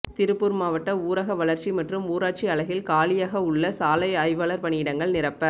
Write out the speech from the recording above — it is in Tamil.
திருப்பூா் மாவட்ட ஊரக வளா்ச்சி மற்றும் ஊராட்சி அலகில் காலியக உள்ள சாலை ஆய்வாளா் பணியிடங்களை நிரப்ப